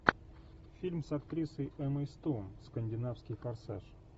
фильм с актрисой эммой стоун скандинавский форсаж